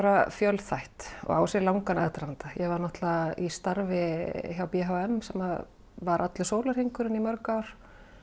fjölþætt og á sér langan aðdraganda ég var náttúrulega í starfi hjá b h m sem var allur sólarhringurinn í mörg ár